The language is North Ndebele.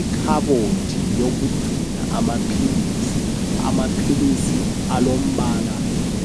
Ikhabothi yokugcina amaphilisi amaphilisi alombala